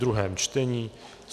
druhé čtení